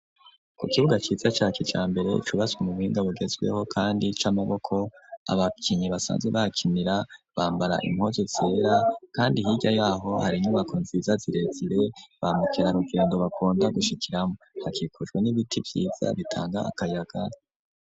Ku kibuga ciza ca kijambere cubatswe mu buhinga bugezweho kandi c'amaboko, abakinyi basanzwe bahakinira bambara impuzu zera kandi hirya yaho hari inyubako nziza zirezire bamukerarugendo bakunda gushikiramwo hakikujwe n'ibiti vyiza bitanga akayaga.